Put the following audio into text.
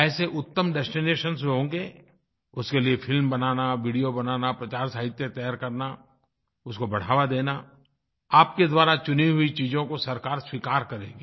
ऐसे उत्तम डेस्टिनेशन जो होंगे उसके लिए फिल्म बनाना वीडियो बनाना प्रचारसाहित्य तैयार करना उसको बढ़ावा देना आपके द्वारा चुनी हुई चीज़ों को सरकार स्वीकार करेगी